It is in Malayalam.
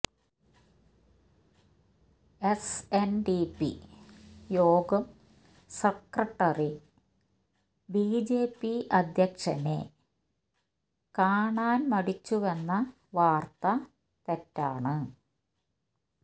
എസ് എൻ ഡി പി യോഗം സെക്രട്ടറി ബിജെപി അധ്യക്ഷനെ കണാൻ മടിച്ചുവെന്ന വാർത്ത തെറ്റാണ്